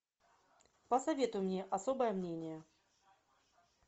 посоветуй мне особое мнение